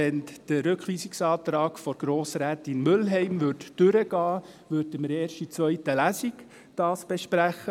Würde der Rückweisungsantrag von Grossrätin Mühlheim durchkommen, würden wir diesen erst in der zweiten Lesung besprechen.